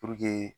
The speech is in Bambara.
Puruke